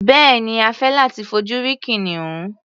Bẹ́ẹ̀ni, a fẹ́ láti fojú rí kìnìún.